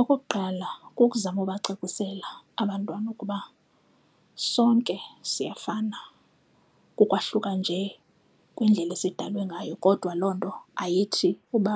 Okokuqala kukuzama ubacacisela abantwana ukuba sonke siyafana kukwahluka nje kwendlela esidalwe ngayo kodwa loo nto ayithi uba